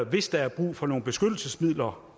hvis der er brug for nogle beskyttelsesmidler